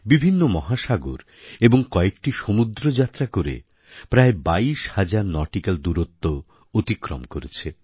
বিভিন্ন মহাসাগর এবং কয়েকটি সমুদ্রযাত্রা করে প্রায় ২২০০০ নটিক্যাল দূরত্ব অতিক্রম করেছে